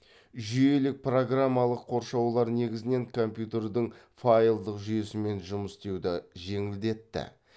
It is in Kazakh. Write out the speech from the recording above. жүйелік программалық қоршаулар негізінен компьютердің файлдық жүйесімен жұмыс істеуді жеңілдетті